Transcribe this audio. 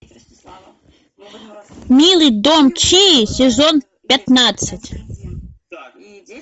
милый дом чии сезон пятнадцать